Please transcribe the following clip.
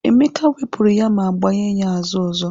Emeka wepụrụ ya ma gbanye ya azụ ọzọ.